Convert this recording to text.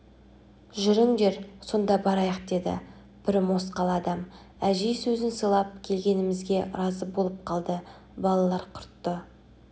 жүріңдер сонда барайық деді бір мосқал адам әжей сөзін сыйлап келгенімізге разы болып қалды балалар құртты